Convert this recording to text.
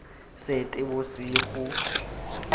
seetebosego